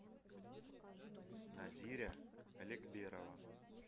назиря аликберова